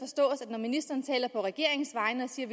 at når ministeren taler på regeringens vegne og siger